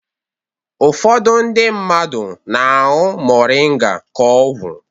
Ụfọdụ ndị mmadụ na-añụ Moringa ka ọgwụ.